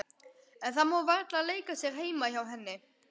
En það má varla leika sér heima hjá henni.